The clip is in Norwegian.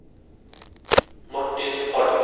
Martin Falch